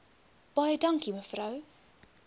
baie dankie mevrou